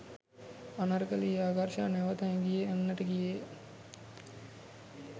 අනර්කලී ආකර්ෂ නැවත හැගී යන්නට ගියේය